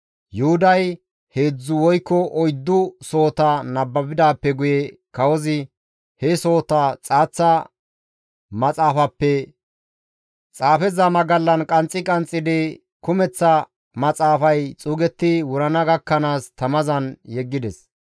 Yuhuday heedzdzu woykko oyddu sohota nababidaappe guye kawozi he sohota xaaththa maxaafappe xaafeza magallan qanxxi qanxxidi kumeththa maxaafay xuugetti wurana gakkanaas tamazan yeggides.